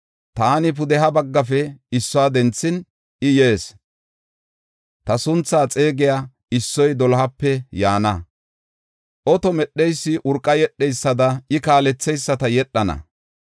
Taani pudeha baggafe issuwa denthin, I yees. Ta sunthaa xeegiya issoy dolohape yaana; oto medheysi urqa yedheysada, I kaaletheyisata yedhana.